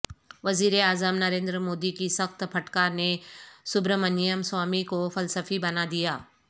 وزیر اعظم نریندرمودی کی سخت پھٹکار نے سبرامنیم سوامی کو فلسفی بنا دیا